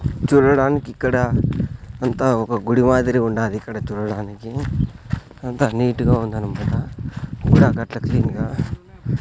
చూడడానికి ఇక్కడ అంతా ఒక గుడి మాదిరి ఉండాది ఇక్కడ చూడడానికి అంత నీట్ గా ఉందన్నమాట గుడి ఏకట్ల క్లీన్ గా.